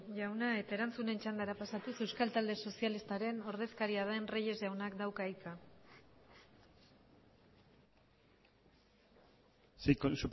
jauna eta erantzunen txandara pasatuz euskal talde sozialistaren ordezkaria den reyes jaunak dauka hitza sí con